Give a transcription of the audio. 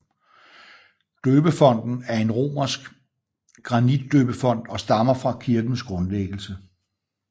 Døbefonten er en romansk granitdøbefont og stammer fra kirkens grundlæggelse